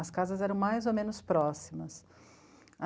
As casas eram mais ou menos próximas.